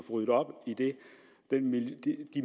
det